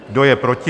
Kdo je proti?